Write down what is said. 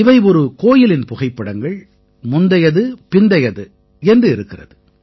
இவை ஒரு கோயிலின் புகைப்படங்கள் முந்தையது பிந்தையது என்று இருக்கிறது